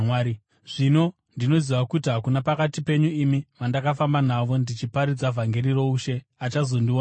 “Zvino ndinoziva kuti hakuna pakati penyu imi vandakafamba navo ndichiparidza vhangeri roushe achazondionazve.